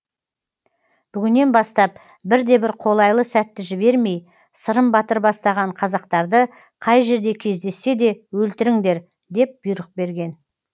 бүгіннен бастап бірде бір қолайлы сәтті жібермей сырым батыр бастаған қазақтарды қай жерде кездессе де өлтіріңдер деп бұйрық берген